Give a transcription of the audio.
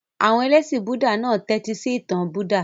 Àwọn ẹlẹ́ṣin Búúdà náà tẹ́tísí ìtàn Buddha.